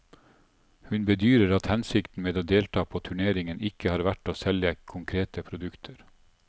Hun bedyrer at hensikten med å delta på turneringen ikke har vært å selge konkrete produkter.